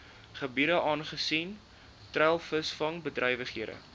gebiede aangesien treilvisvangbedrywighede